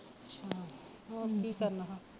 ਹੋਰ ਕੀ ਕਰਨਾ